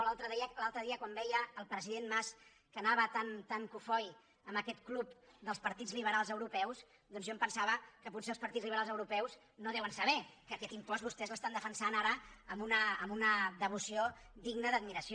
l’altre dia quan veia el president mas que anava tan cofoi a aquest club dels partits liberals europeus doncs jo em pensava que potser els partits liberals europeus no deuen saber que aquest impost vostès l’estan defensant amb una devoció digna d’admiració